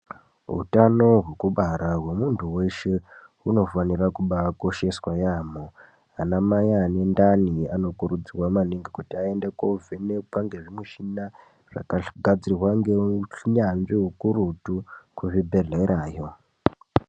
Hutano hwekubara hwemundu weshe hunofanira kubaikosheswa yambo. Anamai ane ndani anokuridzirwa maningi kutii ayende kovhenekwa ngezvimushina zvakagadzirwa ngeunyanzvi hukurutu kuzvibhedhlerayo.